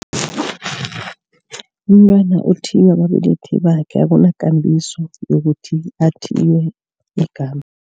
Umntwana uthiywa babelethi bakhe akunakambiso yokuthi athiywe igama.